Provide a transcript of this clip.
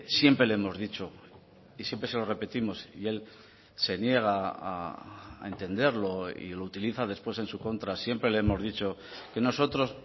siempre le hemos dicho y siempre se lo repetimos y él se niega a entenderlo y lo utiliza después en su contra siempre le hemos dicho que nosotros